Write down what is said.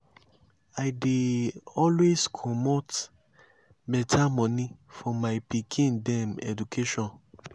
i dey always comot beta moni for my pikin dem education.